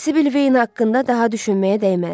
Sibil Veyn haqqında daha düşünməyə dəyməz.